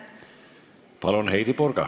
Palun, Heidy Purga!